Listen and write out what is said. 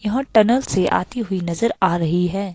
यहां टनल से आती हुई नजर आ रही है।